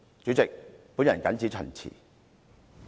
主席，我謹此陳辭。